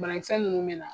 Banakisɛ ninnu bɛ na